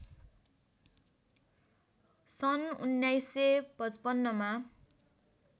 सन् १९५५ मा